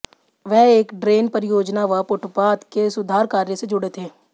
वह एक ड्रेन परियोजना व फुटपाथ के सुधार कार्य से जुड़े थे